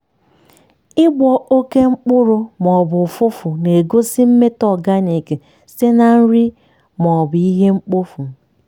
ịgbọ oke mkpụrụ ma ọ bụ ụfụfụ na-egosi mmetọ organic site na nri ma ọ bụ ihe mkpofu.